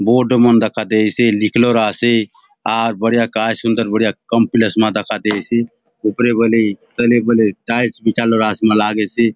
बोर्ड मन दखा देयसे लिख लोर आसे आर बढ़िया काय सुंदर बढ़िया काम्प्लेस मा दखा देयसे ऊपरे बले तले बले टाइल्स बिछा लोर मा आसे लागेसे।